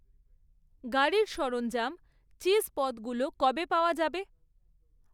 গাড়ির সরঞ্জাম, চিজ পদগুলো কবে পাওয়া যাবে?